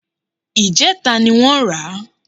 Ìjẹta ni wọ́n rà á